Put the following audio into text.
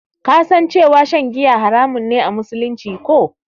Ka san cewa shan giya haramun ne a musulunci, ko?